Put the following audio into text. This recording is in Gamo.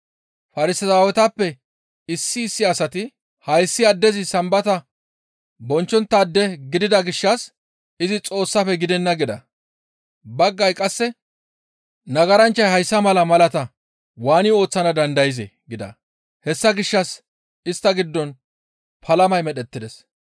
Farsaawetappe issi issi asati, «Hayssi addezi Sambata bonchchonttaade gidida gishshas izi Xoossafe gidenna» gida. Baggayti qasse, «Nagaranchchay hayssa mala malaata waani ooththana dandayzee?» gida. Hessa gishshas istta giddon palamay medhettides.